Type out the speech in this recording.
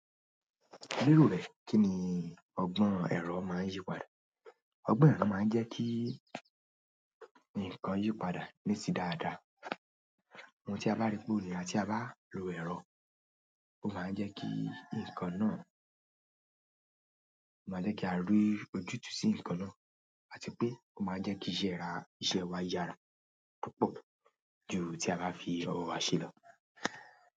Lórí rẹ, kí ni ọgbọ́n èrò máá ń yípadà? Ọgbọ́n èrò máa ń jẹ́ kí ǹkan yípadà nísì dáadáa. Ohun tí a bá rí gbórí àti bá lo èrò, ó máa ń jẹ́ kí ǹkan náà, ó máa jẹ́ kí a rí ojútùú sí ǹkan náà àti pé ó máa ń jẹ́ kí ìṣe wa yára púpọ̀ ju ti a bá fi ọwọ́ wa ṣe lọ.